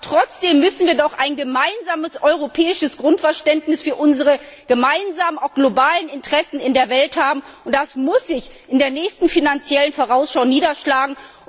Aber trotzdem müssen wir doch ein europäisches Grundverständnis für unsere gemeinsamen globalen Interessen in der Welt haben, und das muss sich in der nächsten Finanziellen Vorausschau niederschlagen.